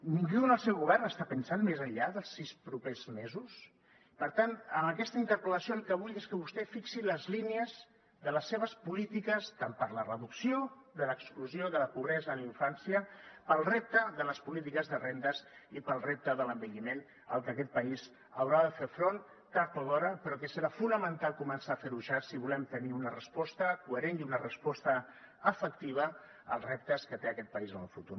ningú en el seu govern està pensant més enllà dels sis propers mesos per tant amb aquesta interpel·lació el que vull és que vostè fixi les línies de les seves polítiques per la reducció de l’exclusió i de la pobresa en la infància pel repte de les polítiques de rendes i pel repte de l’envelliment al que aquest país haurà de fer front tard o d’hora però que serà fonamental començar a fer ho ja si volem tenir una resposta coherent i una resposta efectiva als reptes que té aquest país en el futur